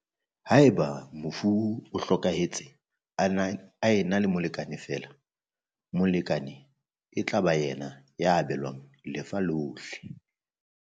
Haeba mofu o hlokahe tse a na le molekane feela, molekane e tla ba yena ya abelwang lefa lohle.